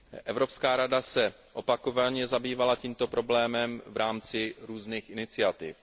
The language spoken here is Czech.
Evropská rada se opakovaně zabývala tímto problémem v rámci různých iniciativ.